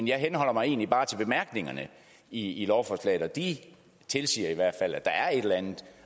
jeg henholder mig egentlig bare til bemærkningerne i i lovforslaget og de siger i hvert fald at der er et eller andet